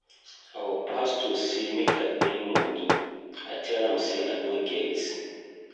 Our pastor say make I bring money. I tell am say I no get.